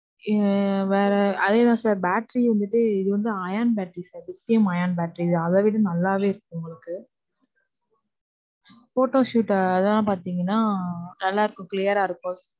இது வேற, அதே தான் sir. Battery வந்துட்டு இது வந்து ion battery sir, lithium ion battery. அத விட நல்லாவே இருக்கும் உங்களுக்கு. Photoshoot அதெல்லாம் பாத்தீங்கனா, நல்லாவே இருக்கும் Clear ஆ இருக்கும்.